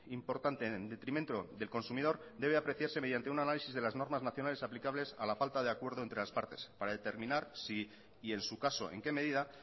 importante en detrimento del consumidor debe apreciarse mediante un análisis de las normas nacionales aplicables a la falta de acuerdo entre las partes para determinar si y en su caso en qué medida